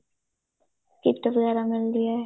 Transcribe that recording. kit ਵਗੈਰਾ ਮਿਲਦੀ ਏ